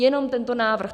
Jenom tento návrh.